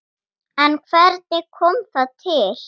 En hvernig kom það til?